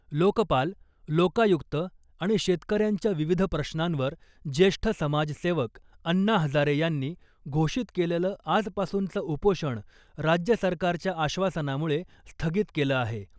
लोकपाल , लोकायुक्त आणि शेतकऱ्यांच्या विविध प्रश्नांवर ज्येष्ठ समाजसेवक अण्णा हजारे यांनी घोषित केलेलं आजपासूनचं उपोषण राज्य सरकारच्या आश्वासनामुळे स्थगित केलं आहे .